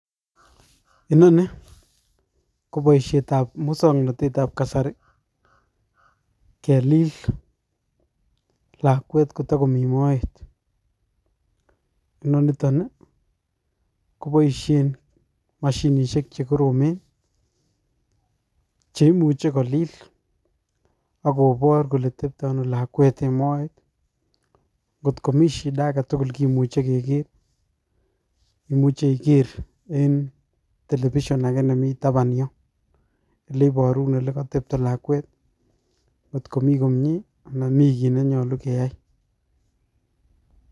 Inoni ko boishet ab muswoknotet tab kasari kelil lakwet kotokomii moet, inoniton nii koboishen moshinishek chekoromen cheimuche kolil akobore kole tepto Ono lakwet en moet kotko mii shida agetukul kimuch Keker, imuche iker en television ake nimii taban yon neiboru ole kotepto lakwet kotko mii komie anan kii kit nenyolu keyai.